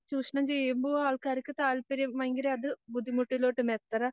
ചൂഷണം ചെയ്യുമ്പോ ആൾക്കാർക്ക് താല്പര്യം ഭയങ്കരം അത് ബുദ്ധിമുട്ടിലോട്ട് കാരണം,